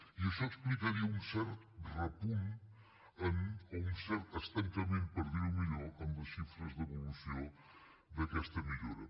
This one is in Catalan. i això explicaria un cert repunt o un cert estancament per dir ho millor en les xifres d’evolució d’aquesta millora